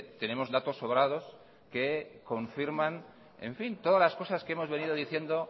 tenemos datos sobrados que confirman todas las cosas que hemos venido diciendo